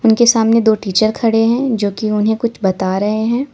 उनके सामने दो टीचर खड़े हैं जो कि उन्हें कुछ बता रहे हैं।